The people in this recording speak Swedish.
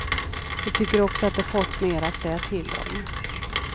De tycker också att de fått mer att säga till om.